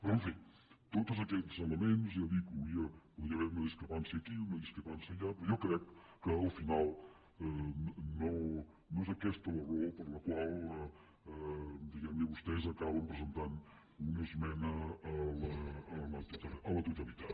però en fi en tots aquests elements ja dic podria haver hi una discrepància aquí una discrepància allà però jo crec que al final no és aquesta la raó per la qual diguem ne vostès acaben presentant una esmena a la totalitat